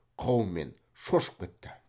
қаумен шошып кетті